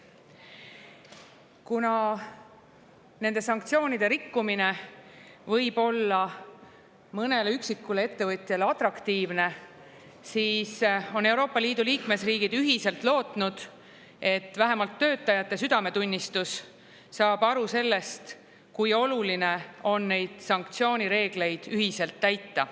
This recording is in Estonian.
Kuna nende sanktsioonide rikkumine võib olla mõnele üksikule ettevõtjale atraktiivne, siis on Euroopa Liidu liikmesriigid ühiselt lootnud, et vähemalt töötajate südametunnistus saab aru sellest, kui oluline on neid sanktsioonireegleid ühiselt täita.